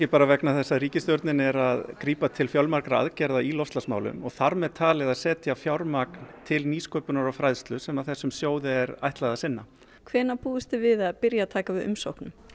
vegna þess að ríkisstjórnin er að grípa til fjölmargra aðgerða í loftslagsmálum og þar með talið að setja fjármagn til nýsköpunar og fræðslu sem þessum sjóði er ætlað að sinna hvenær búist þið við að byrja að taka við umsóknum